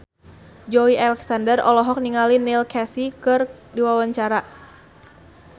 Joey Alexander olohok ningali Neil Casey keur diwawancara